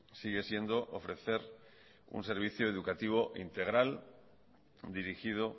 sigue siendo ofrecer un servicio educativo e integral dirigido